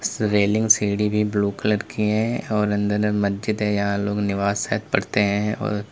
इस रेलिंग सीढ़ी भी ब्लू कलर की है और अंदर में मस्जिद है यहां लोग नमाज़ शायद पढ़ते हैं और--